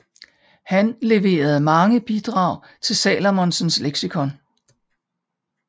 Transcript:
Han leverede mange bidrag til Salmonsens Leksikon